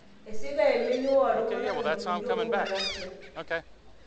Esika emeni woltunganak 31 Malaysia.